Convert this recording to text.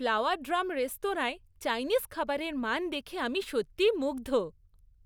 Flower drum রেস্তোরাঁর Chinese খাবারের মান দেখে আমি সত্যিই মুগ্ধ।